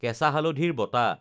কেঁচা হালধিৰ বটা